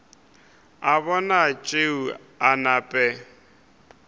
a bona tšeo a nape